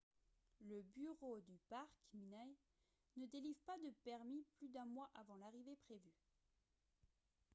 le bureau du parc minae ne délivre pas de permis plus d’un mois avant l’arrivée prévue